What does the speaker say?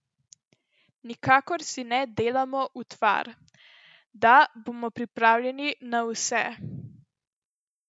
Nikakor si ne delamo utvar, da bomo pripravljeni na vse.